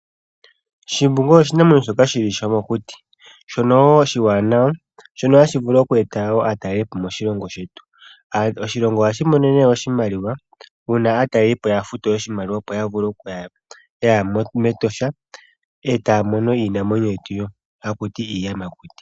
Shimbungu osho oshinamwenyo shoka shili shomokuti, shono woo oshiwanawa, shono hashi vulu oku eta woo aatalelipo moshilongo shetu. Oshilongo ohashi mono nee oshimaliwa uuna aatalelipo ya futu oshimaliwa opo ya vule okuya mEtosha, eta ya mono iinamwenyo yetu mbyono hakuti Iiyamakuti.